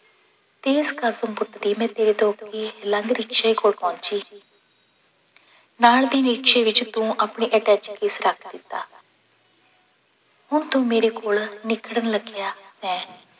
ਤੇਜ਼ ਕਦਮ ਪੁੱਟਦੀ ਮੈਂ ਤੇਰੇ ਤੋਂ ਅੱਗੇ ਲੰਘ ਰਿਕਸ਼ੇ ਕੋਲ ਪਹੁੰਚੀ ਨਾਲ ਦੀ ਰਿਕਸ਼ੇ ਵਿੱਚ ਤੂੰ ਆਪਣੀ ਅਟੈਚੀ ਕੇਸ ਰੱਖ ਦਿੱਤਾ ਹੁਣ ਤੂੰ ਮੇਰੇ ਕੋਲ ਨਿਖੜਨ ਲੱਗਿਆ ਸੈਂ।